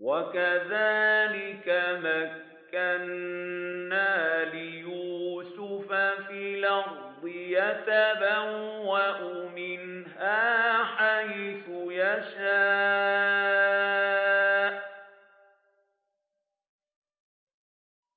وَكَذَٰلِكَ مَكَّنَّا لِيُوسُفَ فِي الْأَرْضِ يَتَبَوَّأُ مِنْهَا حَيْثُ يَشَاءُ ۚ